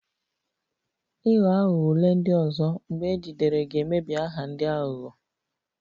Ịghọ aghụghọ ule ndị ọzọ, mgbe ejidere ga-emebi aha ndị aghụghọ